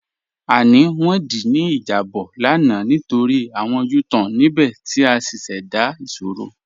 A ní wọn dí ní ijàbọ̀ lána nítorí awọn U-Tan níbẹ̀ ti a ṣíṣẹ́dá ìṣòro.